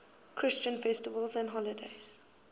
christian festivals and holy days